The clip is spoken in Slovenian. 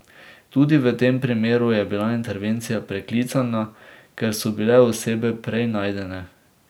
Tudi v tem primeru je bila intervencija preklicana, ker so bile osebe prej najdene.